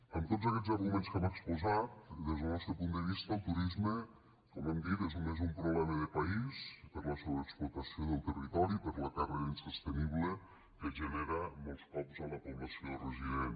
amb tots aquests arguments que hem exposat des del nostre punt de vista el turisme com hem dit és un problema de país per la sobreexplotació del territori per la càrrega insostenible que genera molts cops a la població resident